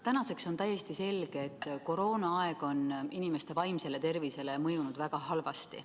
Tänaseks on täiesti selge, et koroonaaeg on inimeste vaimsele tervisele mõjunud väga halvasti.